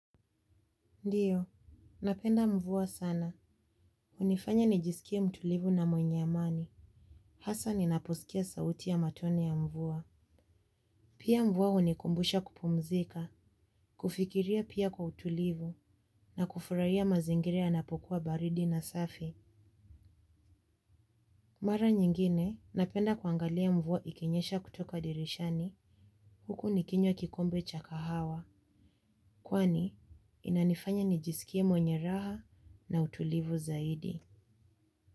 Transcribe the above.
Ndiyo, napenda mvua sana. Unifanya nijisikia mtulivu na mwenye amani. Hasa ninaposikia sauti ya matone ya mvua. Pia mvua unikumbusha kupumzika. Kufikiria pia kwa utulivu. Ndiyo, napenda mvua sana. Mara nyingine, napenda kuangalia mvua ikinyesha kutoka dirishani. Huku nikinywa kikombe cha kahawa. Kwani, inanifanya nijisikie mwenye raha na utulivu zaidi.